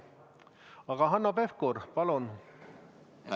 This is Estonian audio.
Aga Hanno Pevkur, palun!